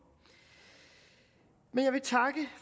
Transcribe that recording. men jeg vil takke